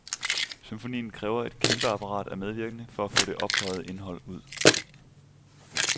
Symfonien kræver et kæmpeapparat af medvirkende for at få det ophøjede indhold ud.